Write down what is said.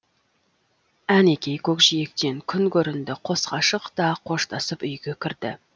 әнекей көкжиектен күн көрінді қос ғашық та қоштасып үйге кірді